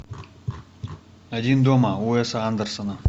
один дома уэса андерсона